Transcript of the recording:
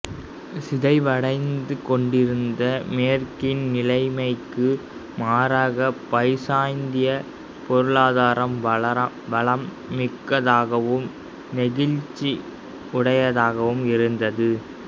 சிதைவடைந்து கொண்டிருந்த மேற்கின் நிலைமைக்கு மாறாக பைசாந்தியப் பொருளாதாரம் வளம் மிக்கதாகவும் நெகிழ்ச்சி உடையதாகவும் இருந்தது